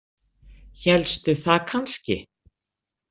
Hélstu það kannski?